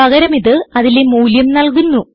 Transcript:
പകരം ഇത് അതിലെ മൂല്യം നല്കുന്നു